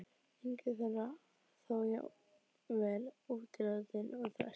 Engin þeirra þó jafn vel útilátin og þessi.